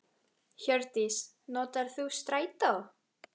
Hjördís: Notar þú strætó?